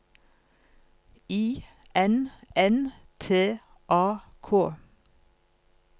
I N N T A K